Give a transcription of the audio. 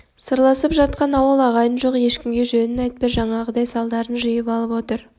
сырласып жатқан ауыл ағайын жоқ ешкімге жөнін айтпай жаңағыдай салдарын жиып алып отыр